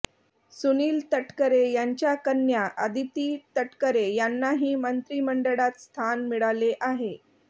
सुनील तटकरे यांच्या कन्या आदिती तटकरे यांनाही मंत्रिमंडळात स्थान मिळाले आहे